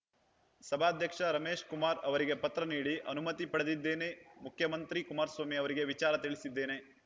ಸಭಾಧ್ಯಕ್ಷ ರಮೇಶ್‌ ಕುಮಾರ್‌ ಅವರಿಗೆ ಪತ್ರ ನೀಡಿ ಅನುಮತಿ ಪಡೆದಿದ್ದೇನೆ ಮುಖ್ಯಮಂತ್ರಿ ಕುಮಾರಸ್ವಾಮಿ ಅವರಿಗೆ ವಿಚಾರ ತಿಳಿಸಿದ್ದೇನೆ